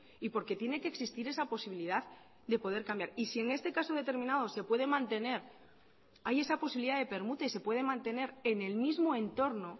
y porque tiene que existir esa posibilidad de poder cambiar y si en este caso determinado se puede mantener hay esa posibilidad de permuta y se puede mantener en el mismo entorno